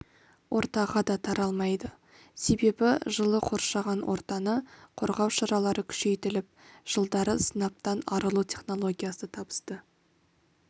ортаға да таралмайды себебі жылы қоршаған ортаны қорғау шаралары күшейтіліп жылдары сынаптан арылу технологиясы табысты